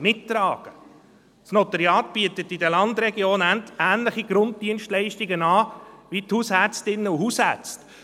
Das Notariat bietet in den Landregionen ähnliche Grunddienstleistungen an wie die Hausärztinnen und Hausärzte.